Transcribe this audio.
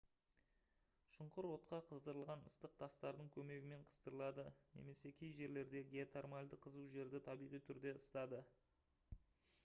шұңғыр отқа қыздырылған ыстық тастардың көмегімен қыздырылады немесе кей жерлердегі геотермальді қызу жерді табиғи түрде ысытады